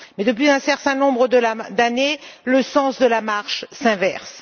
Mais, depuis un certain nombre d'années, le sens de la marche s'inverse.